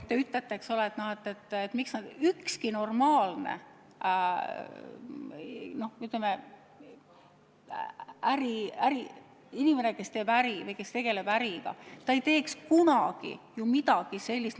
Teie ütlete, eks ole, et ükski normaalne inimene, kes tegeleb äriga, ei teeks kunagi midagi sellist.